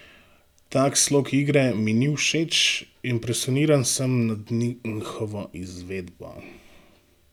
Tak slog igre mi ni všeč, impresioniran sem nad njihovo izvedbo.